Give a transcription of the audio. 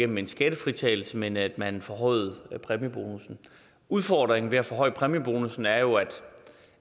med en skattefritagelse men at man forhøjede præmiebonussen udfordringen ved at forhøje præmiebonussen er jo